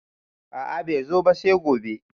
A`a bai zo ba sai gobe